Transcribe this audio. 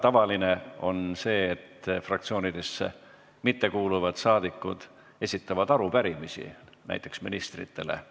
Tavaline on see, et fraktsioonidesse mittekuuluvad saadikud esitavad arupärimisi, näiteks ministritele.